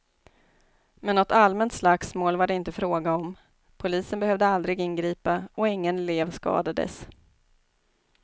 Men något allmänt slagsmål var det inte fråga om, polisen behövde aldrig ingripa och ingen elev skadades.